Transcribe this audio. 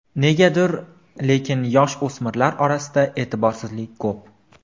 Negadir, lekin yosh o‘smirlar orasida e’tiborsizlik ko‘p.